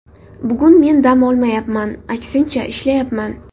Bugun men dam olmayapman, aksincha, ishlayapman.